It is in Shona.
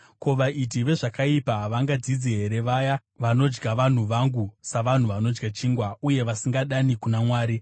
Ko, vaiti vezvakaipa havangadzidzi here, vaya vanodya vanhu vangu savanhu vanodya chingwa, uye vasingadani kuna Mwari?